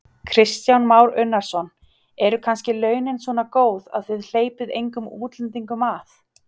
Kristján Már Unnarsson: Eru kannski launin svona góð að þið hleypið engum útlendingum að?